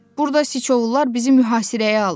Burda siçovullar bizi mühasirəyə alıb.